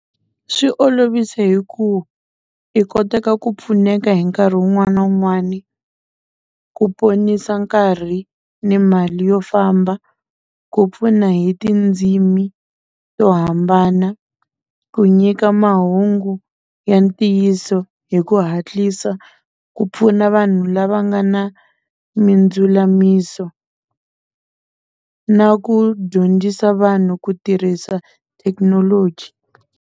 Swi olovise hi ku i koteka ku pfuneka hi nkarhi wun'wani na wun'wani ku ponisa nkarhi ni mali yo famba ku pfuna hi tindzimi to hambana ku nyika mahungu ya ntiyiso hi ku hatlisa ku pfuna vanhu lava nga na mindzulamiso na ku dyondzisa vanhu ku tirhisa thekinoloji.